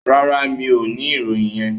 No, I don't have that information.